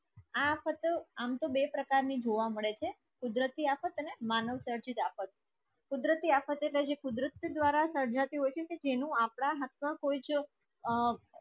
આફત આમ તો બે પ્રકાર ની જોવા મળે છે કુદરતી આફત અને માનવસર્જિત આફત કુદરતી આફત ઍટલે જે કુદરત કે દ્વારા સર્જાતી હોય છે જે તેનું હાથમાં કોઈ જો આ